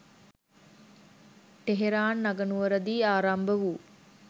Tehran අගනුවර දී ආරම්භ වූ